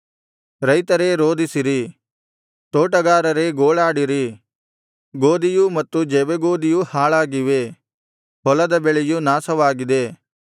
ರೈತರೇ ರೋದಿಸಿರಿ ತೋಟಗಾರರೇ ಗೋಳಾಡಿರಿ ಗೋದಿಯೂ ಮತ್ತು ಜವೆಗೋದಿಯೂ ಹಾಳಾಗಿವೆ ಹೊಲದ ಬೆಳೆಯು ನಾಶವಾಗಿದೆ